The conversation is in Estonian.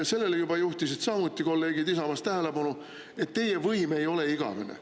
Kolleegid Isamaast juhtisid samuti sellele tähelepanu, et teie võim ei ole igavene.